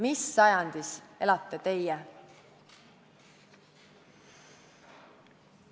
Mis sajandis elate teie?